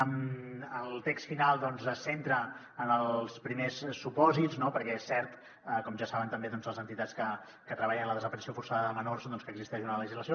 en el text final es centra en els primers supòsits perquè és cert com ja saben també les entitats que treballen en la desaparició forçada de menors doncs que existeix una legislació